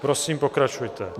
Prosím, pokračujte.